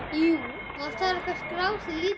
LÁRUS: Ganga hús úr húsi!